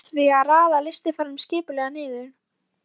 Varð því að raða þessum lystiferðum skipulega niður.